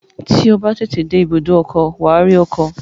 Tí o bá tètè dé ibùdó ọkọ̀, wà á rí ọkọ̀